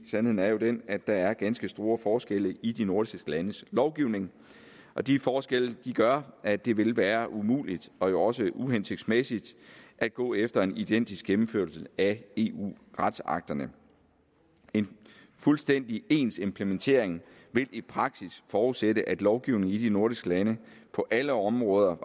sandheden er jo den at der er ganske store forskelle i de nordiske landes lovgivning de forskelle gør at det ville være umuligt og også uhensigtsmæssigt at gå efter en identisk gennemførelse af eu retsakterne en fuldstændig ens implementering vil i praksis forudsætte at lovgivning i de nordiske lande på alle områder